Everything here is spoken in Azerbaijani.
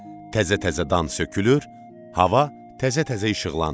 Təzə-təzə dan sökülür, hava təzə-təzə işıqlanır.